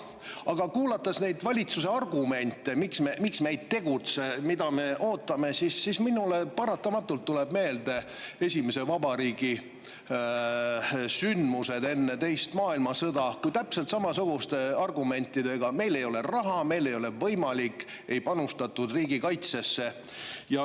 Aga kuulates neid valitsuse argumente, miks me ei tegutse ja mida me ootame, tulevad minule paratamatult meelde esimese vabariigi sündmused enne teist maailmasõda, kui täpselt samasuguste argumentidega, et meil ei ole raha ja meil ei ole võimalik, ei panustatud riigikaitsesse.